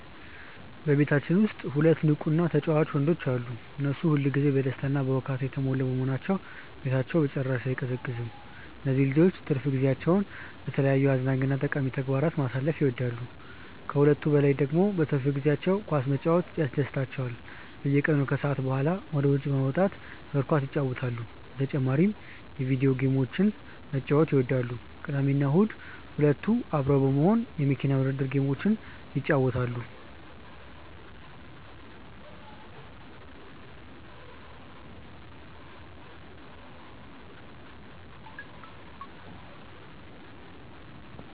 በቤታችን ውስጥ ሁለት ንቁ እና ተጫዋች ወንዶች ልጆች አሉ። እነሱ ሁል ጊዜ በደስታ እና በሁካታ የተሞሉ በመሆናቸው ቤታችን በጭራሽ አይቀዘቅዝም። እነዚህ ልጆች ትርፍ ጊዜያቸውን በተለያዩ አዝናኝ እና ጠቃሚ ተግባራት ማሳለፍ ይወዳሉ። ከሁሉም በላይ ደግሞ በትርፍ ጊዜያቸው ኳስ መጫወት በጣም ያስደስታቸዋል። በየቀኑ ከሰዓት በኋላ ወደ ውጭ በመውጣት እግር ኳስ ይጫወታሉ። በተጨማሪም የቪዲዮ ጌሞችን መጫወት ይወዳሉ። ቅዳሜና እሁድ ሁለቱ አብረው በመሆን የመኪና ውድድር ጌሞችን ይጫወታሉ።